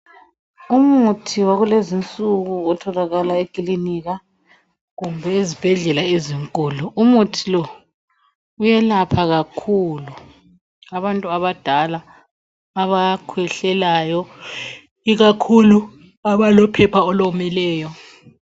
Umuthi wakulezi insuku otholaka ekilinika kumbe ezibhedlela ezinkulu. Umuthi lo uyelapha kakhulu abantu abadala abakhwehlelayo ikakhulu abalophepha olomileyo.